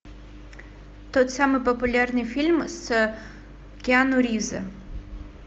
тот самый популярный фильм с киану ривзом